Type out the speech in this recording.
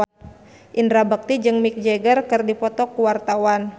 Indra Bekti jeung Mick Jagger keur dipoto ku wartawan